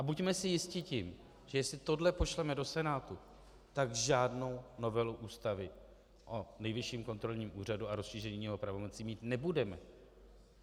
A buďme si jisti tím, že jestli tohle pošleme do Senátu, tak žádnou novelu Ústavy o Nejvyšším kontrolním úřadu a rozšíření jeho pravomocí mít nebudeme.